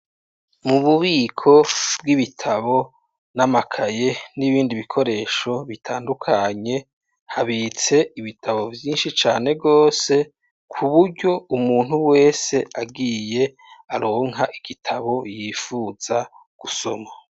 Mu bubiko bw'ibitabo n'amakaye n'ibindi bikoresho bitandukanye habitse ibitabo vyinshi cane rwose ku buryo umuntu wese agiye aronka igitabo yifuza gusoma.